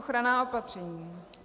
Ochranná opatření.